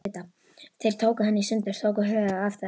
Þeir tóku hana í sundur. tóku höfuðið af þess